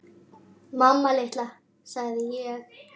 Mamma litla, sagði ég.